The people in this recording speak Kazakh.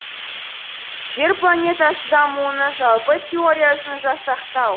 жер планетасы дамуының жалпы теориясын жасақтау